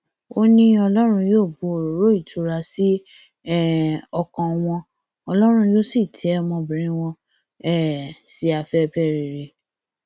ó ní ọlọrun yóò bu òróró ìtura sí um ọkàn wọn ọlọrun yóò sì tẹ ọmọbìnrin wọn um sí afẹfẹ rere